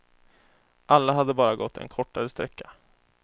Alla hade bara gått en kortare sträcka.